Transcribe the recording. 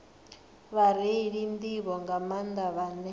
vhareili nḓivho nga maanḓa vhane